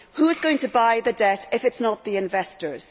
Who is going to buy the debt if it is not the investors?